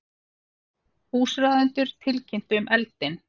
Húsráðendur tilkynntu um eldinn